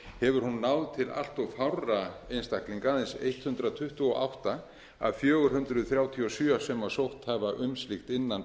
hefur hún náð til allt of fárra einstaklinga aðeins hundrað tuttugu og átta af fjögur hundruð þrjátíu og sjö sem sótt hafa um slíkt innan